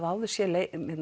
áður séð